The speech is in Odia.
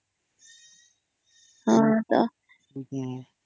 ହଁ ତ